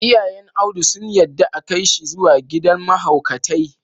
Iyayn Audu sun yadda a Kai shi zuwa gidan mahaukatai.